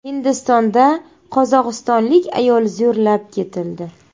Hindistonda qozog‘istonlik ayol zo‘rlab ketildi.